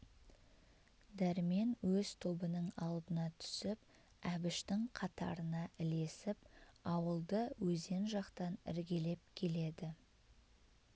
дәрмен өз тобының алдына түсіп әбіштің қатарына ілесіп ауылды өзен жақтан іргелеп келеді